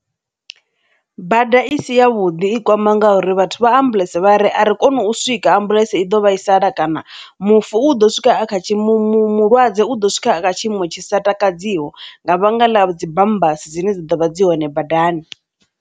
Bada i si ya vhuḓi i kwama ngauri vhathu vha ambuḽentse vha ari a ri kone u swika ambuḽentse i ḓo vhaisala kana mufu u ḓo swika a kha tshiimo, mu mu mulwadze u ḓo swika a kha tshiimo tshi sa takadziho nga vhanga ḽa dzi bambasi dzine dzi ḓovha dzi hone badani.